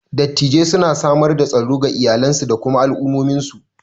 Dattijai suna samar da tsaro ga iyalansu da kuma al'ummominsu.